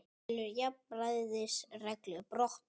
Telur jafnræðisreglu brotna